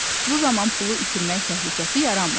Bu zaman pulu itirmək təhlükəsi yaranmır.